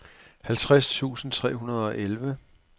halvtreds tusind tre hundrede og elleve